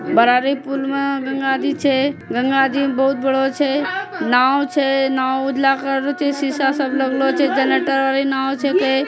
बरारी पूल मा गंगा जी छे गंगा जी बोहोत बड़ो छे| नाव छै नाव उजला छै शीशा सब लगलो छै जनरेटर वाली नाव छैके।